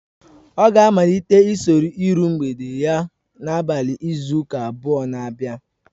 Ọ ga-amalite usoro iru mgbede ya n'abalị izu ụka abụọ na abia